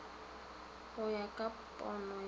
go ya ka pono ya